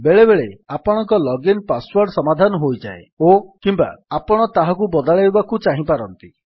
ବେଳେବେଳେ ଆପଣଙ୍କ login password ସମାଧାନ ହୋଇଯାଏ ଓକିମ୍ୱା ଆପଣ ତାହାକୁ ବଦଳାଇବାକୁ ଚାହିଁପାରନ୍ତି